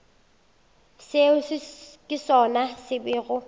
seo ke sona se bego